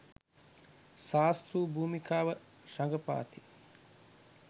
ශාස්තෲ භූමිකාව රඟපාති.